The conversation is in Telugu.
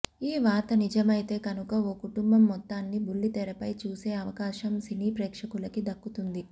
ఈ వార్త నిజమైతే కనుక ఓ కుటుంబం మొత్తాన్ని బుల్లితెరపై చూసే అవకాశం సినీ ప్రేక్షకులకి దక్కుతుంది